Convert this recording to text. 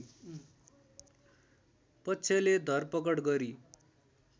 पक्षले धरपकड गरी